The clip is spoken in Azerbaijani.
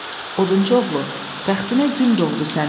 Odunçu oğlu, bəxtinə gün doğdu sənin.